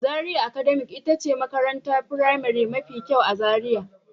Zaria academy ita ce makarantar firamare mafi kyau a Zaria.